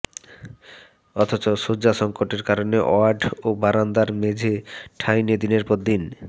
অথচ শয্যাসংকটের কারণে ওয়ার্ড ও বারান্দার মেঝে ঠাঁই নিয়ে দিনের পর দিন